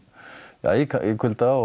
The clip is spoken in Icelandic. ja í kulda og